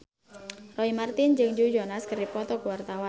Roy Marten jeung Joe Jonas keur dipoto ku wartawan